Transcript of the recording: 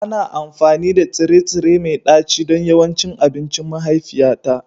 Ana amfani da tsire-tsire mai ɗaci don yawancin abincin mahaifiyata